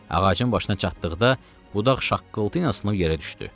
Ağacın başına çatdıqda budaq şaqqıltı ilə sınıb yerə düşdü.